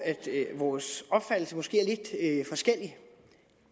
vores opfattelse måske er lidt forskellig